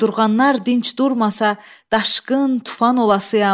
Qudurğanlar dinc durmasa, daşqın tufan olasıyam.